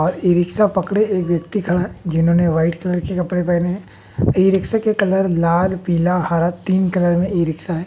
और e rickshaw पकड़े एक व्यक्ति खड़ा जिन्होंने व्हाइट कलर के कपड़े पेहने है ई रिक्शे के कलर लाल पीला हरा तीन कलर में ई रिक्शा है।